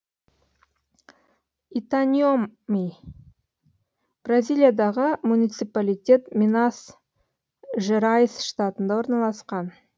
итаньоми бразилиядағы муниципалитет минас жерайс штатында орналасқан